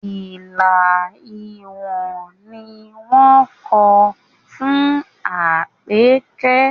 Ilà Ìwó ni wọ́n kọ fún Àpèkẹ́